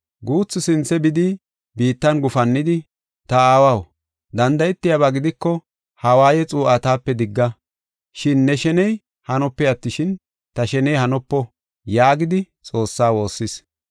Guuthi sinthe bidi biittan gufannidi, “Ta Aawaw, danda7etiyaba gidiko ha waaye xuu7aa taape digga. Shin ne sheney hanope attishin, ta sheney hanopo” yaagidi Xoossaa woossis.